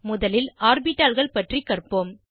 முதலில் ஆர்பிட்டால்கள் பற்றி கற்போம்